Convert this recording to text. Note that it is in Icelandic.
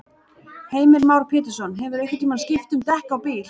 Heimir Már Pétursson: Hefurðu einhvern tímann skipt um dekk á bíl?